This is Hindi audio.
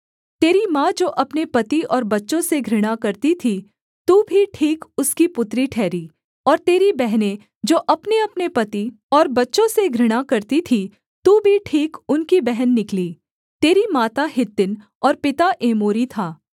तेरी माँ जो अपने पति और बच्चों से घृणा करती थी तू भी ठीक उसकी पुत्री ठहरी और तेरी बहनें जो अपनेअपने पति और बच्चों से घृणा करती थीं तू भी ठीक उनकी बहन निकली तेरी माता हित्तिन और पिता एमोरी था